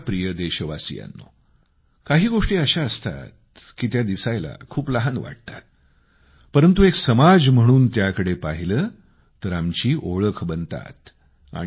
माझ्या प्रिय देशवासियांनो काही गोष्टी अशा असतात की त्या दिसायला खूप लहान वाटतात परंतु एक समाज म्हणून त्याकडे पाहिलं तर आमची ओळख बनतात